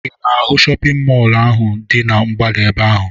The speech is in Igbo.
Ị na-ahụ shọpịn mọọ ahụ dị na mgbada ebe ahụ?